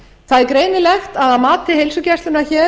það er greinilegt að að mati heilsugæslunnar hér